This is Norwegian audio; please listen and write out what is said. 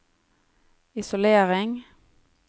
isolering